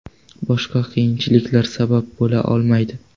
Boshqa qiyinchiliklar sabab bo‘la olmaydi.